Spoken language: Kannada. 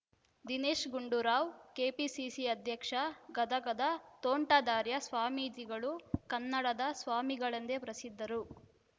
ದಿನೇಶ್‌ ಗುಂಡೂರಾವ್‌ ಕೆಪಿಸಿಸಿ ಅಧ್ಯಕ್ಷ ಗದಗದ ತೋಂಟದಾರ್ಯ ಸ್ವಾಮೀಜಿಗಳು ಕನ್ನಡದ ಸ್ವಾಮಿಗಳೆಂದೇ ಪ್ರಸಿದ್ಧರು